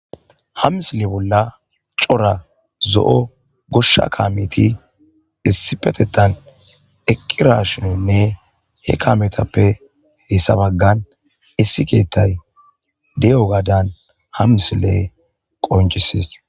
Ha misile bolla c'ora zoo'o gosha kameti issippetetan eqirashinine he kametape heysa bagan issi kethay de'iyogadan ha misile konc'ses.